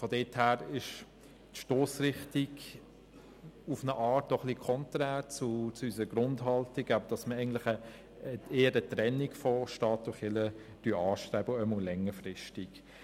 Daher ist die Stossrichtung etwas konträr zu unserer Grundhaltung, wonach wir eher eine Trennung von Staat und Kirche anstreben, jedenfalls längerfristig.